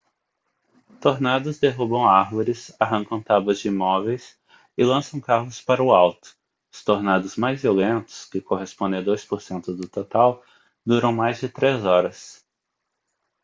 tornados derrubam árvores arrancam tábuas de imóveis e lançam carros para o alto os tornados mais violentos que correspondem a 2% do total duram mais de três horas